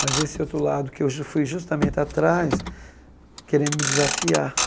Mas esse outro lado, que eu já fui justamente atrás, querendo me desafiar.